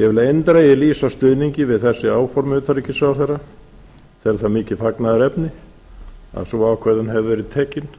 ég vil eindregið lýsa stuðningi við þessi áform utanríkisráðherra tel það mikið fagnaðarefni að sú ákvörðun hefur verið tekin